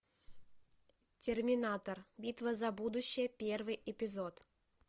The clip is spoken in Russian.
терминатор битва за будущее первый эпизод